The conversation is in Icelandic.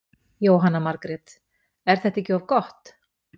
Jóhanna Margrét: Er þetta ekki of gott?